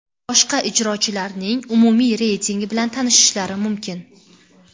boshqa ijrochilarning umumiy reytingi bilan tanishishlari mumkin.